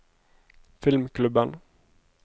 filmklubben